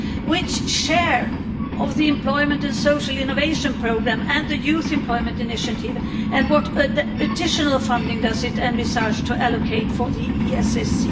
Which share of the Employment and Social Innovation Programme and the Youth Employment Initiative and what additional funding does it envisage to allocate for the ESSC?